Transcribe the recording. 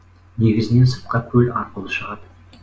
негізінен сыртқа көл арқылы шығады